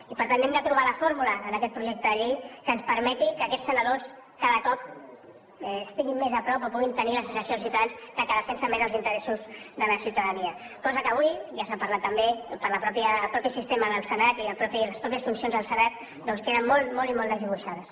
i per tant hem de trobar la fórmula en aquest projecte de llei que ens permeti que aquests senadors cada cop estiguin més a prop o puguin tenir la sensació els ciutadans que defensen més els interessos de la ciutadania coses que avui ja se n’ha parlat també pel mateix sistema del senat i les mateixes funcions del senat queden molt molt i molt desdibuixades